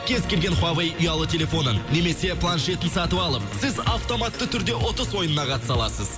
кез келген хуавей ұялы телефонын немесе планшетін сатып алып сіз автоматты түрде ұтыс ойынына қатыса аласыз